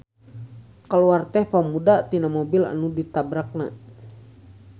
Kaluar teh pamuda tina mobil nu ditabrakna.